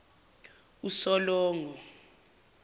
usolongo